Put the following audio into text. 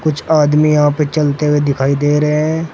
कुछ आदमी यहां पे चलते हुए दिखाई दे रहे हैं।